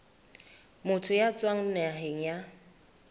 motho ya tswang naheng ya